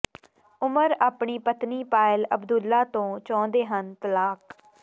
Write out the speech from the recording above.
ਉੁਮਰ ਅਪਣੀ ਪਤਨੀ ਪਾਇਲ ਅਬਦੁੱਲਾ ਤੋਂ ਚਾਹੁੰਦੇ ਹਨ ਤਲਾਕ